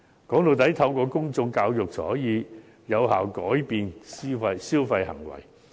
歸根究底，透過公眾教育才可以有效改變消費行為。